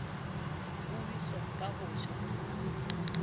bo weso ka ho ja